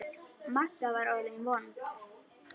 Magga var orðin vond.